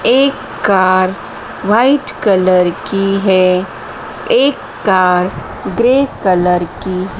एक car white colour की है एक कार ग्रे कलर की --